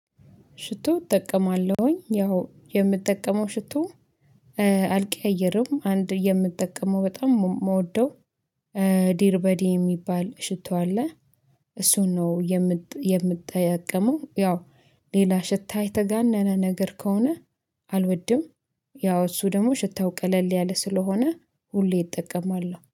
ሽቶ እጠቀማለሁኝ ያው የምጠቀመው ሽቶ አልቀያየርም አንድ የምጠቀመው በጣም የምወደው ዲርበዲ የሚባል ሽቶ አለ። እሱን ነው የምጥ የምጥየቀመው ያው ሌላ ሽታ የተጋነነ ነገር ከሆነ አልወድም። ያው እሱ ደግሞ ሽታው ቀለል ያለ ስለሆነ ሁሌ እጠቀማለሁ